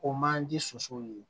O man di sosow ye